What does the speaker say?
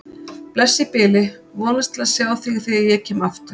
Bless í bili, vonast til að sjá þig þegar ég kem aftur